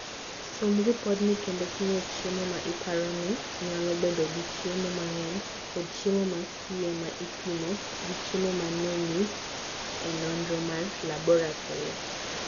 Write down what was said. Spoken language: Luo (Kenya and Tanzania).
Som ripodno kendo pimo chiemo ma iparo ni nyalo bedo gi chiemo mang'eny kod chiemo ma sie ma ipimo gi chiemo ma nonyis e nonro mar laboratori.